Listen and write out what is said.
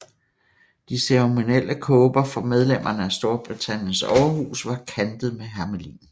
De ceremonielle kåber for medlemmerne af Storbritanniens overhus var kantet med hermelin